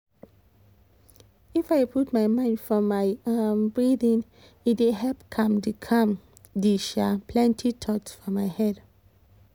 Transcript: if i put my mind for my um breathing e dey help calm the calm the um plenty thoughts for my head